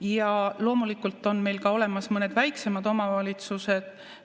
Ja loomulikult on meil ka olemas mõned väiksemad omavalitsused.